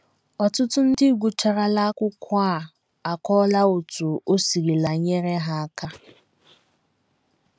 Ọtụtụ ndị gụcharala akwụkwọ a akọọla otú o sirila nyere ha aka.